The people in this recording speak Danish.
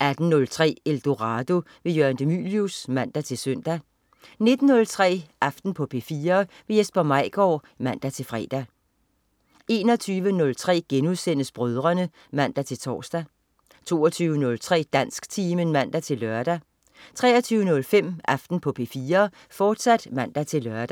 18.03 Eldorado. Jørgen de Mylius (man-søn) 19.03 Aften på P4. Jesper Maigaard (man-fre) 21.03 Brødrene* (man-tors) 22.03 Dansktimen (man-lør) 23.05 Aften på P4, fortsat (man-lør)